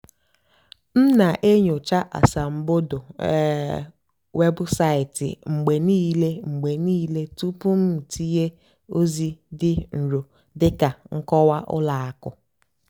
m nà-ènyócha ásàmbódò um wébụ́saịtị́ mgbe níìlé mgbe níìlé túpú m tìnyé ózì dì nró dị́ kà nkọ́wá ùlọ àkụ́.